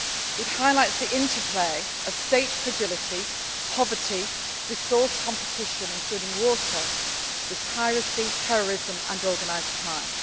Africa. It highlights the interplay of state fragility, poverty, resource competition including water, with piracy, terrorism and organised